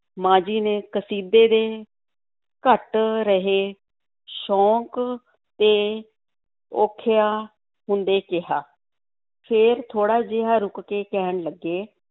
ਮਾਂ ਜੀ ਨੇ ਕਸੀਦੇ ਦੇ ਘੱਟ ਰਹੇ ਸ਼ੌਕ 'ਤੇ ਔਖਿਆਂ ਹੁੰਦੇ ਕਿਹਾ, ਫਿਰ ਥੋੜ੍ਹਾ ਜਿਹਾ ਰੁੱਕ ਕੇ ਕਹਿਣ ਲੱਗੇ,